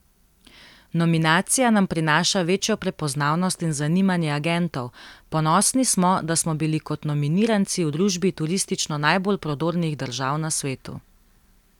Nominacija nam prinaša večjo prepoznavnost in zanimanje agentov, ponosni smo, da smo bili kot nominiranci v družbi turistično najbolj prodornih držav na svetu.